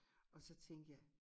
Og så tænkte jeg